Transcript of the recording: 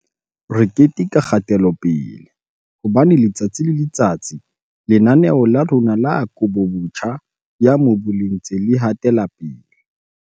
"Re keteka kgatelopele, hobane letsatsi le letsatsi Lena-neo la rona la Kabobotjha ya Mobu le ntse le hatela pele."